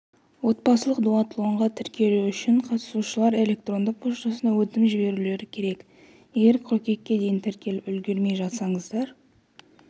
отбасылық дуатлонға тіркелу үшін қатысушылар электронды поштасына өтінім жіберулері керек егер қыркүйекке дейін тіркеліп үлгермей жатсаңыздар